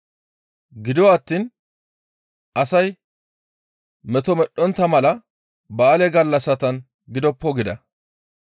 Gido attiin, «Asay meto medhdhontta mala ba7aale gallassatan gidoppo» gida.